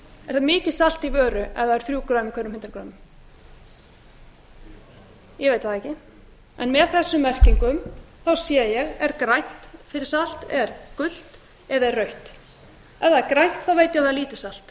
er það mikið salt í vöru ef það eru þrjú greinar í hverjum hundrað greinar ég veit það ekki en með þessum merkingum sé ég er grænt fyrir salt er gult eða er rautt ef það er grænt þá veit ég að það er lítið salt